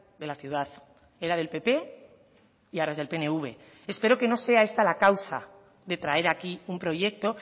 de la ciudad era del pp y ahora es del pnv espero que no sea esta la causa de traer aquí un proyecto